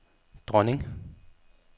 dronning